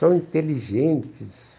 São inteligentes.